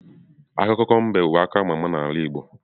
Akụkọ mbe bu akụkọ ama ama n'ala igbo niile.